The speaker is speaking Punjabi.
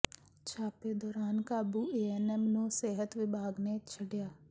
ਛਾਪੇ ਦੌਰਾਨ ਕਾਬੂ ਏਐਨਐਮ ਨੂੰ ਸਿਹਤ ਵਿਭਾਗ ਨੇ ਛੱਡਿਆ